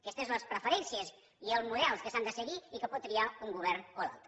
aquestes són les preferències i els models que s’han de seguir i que pot triar un govern o l’altre